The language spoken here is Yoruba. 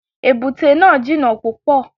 Èbúté náà jìnà púpọ̀.